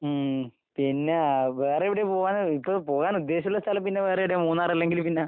ഉം പിന്നേ അഹ് വേറെവടെയാ പോവാന് ഇപ്പ പോവാനുദ്ദേശിച്ചിട്ടുള്ള സ്ഥലം പിന്നെ വേറെ എവടെയാ മൂന്നാറല്ലെങ്കില് പിന്നെ?